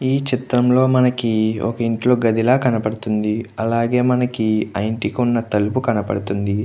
ఈ చిత్రంలో మనకి ఒక ఇంట్లో గది లా కనబడుతుంది. అలాగే ఆ ఇంటికి ఉన్న తలపు కనబడుతుంది.